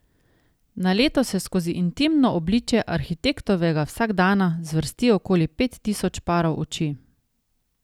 Na leto se skozi intimno obličje arhitektovega vsakdana zvrsti okoli pet tisoč parov oči.